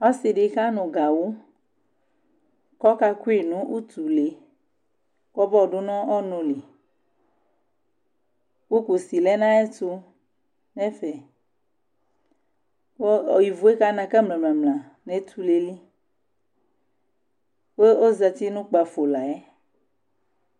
Ɔsidi kanu gawu kɔkakui kɔmɔdunu ɔnuli ku kusi lɛ nayɛtu ku ivu kana ka mlamla netulel kozati nu kpafolayɛi